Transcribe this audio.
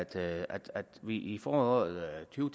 til at vi i foråret to